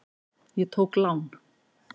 Ég tók lán.